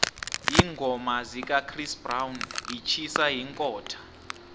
iingoma zikachris brown itjhisa iinkhotha